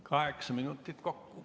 Kaheksa minutit kokku.